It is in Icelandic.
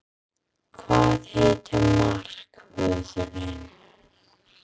Hvað heitir markvörðurinn?